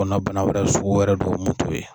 Kɔnɔbana wɛrɛ sugu wɛrɛ dɔw mun t'o ye